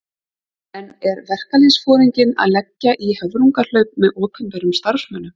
En er verkalýðsforinginn að leggja í höfrungahlaup með opinberum starfsmönnum?